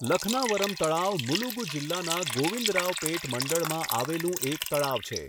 લખનાવરમ તળાવ મુલુગુ જિલ્લાના ગોવિંદરાવપેટ મંડળમાં આવેલું એક તળાવ છે.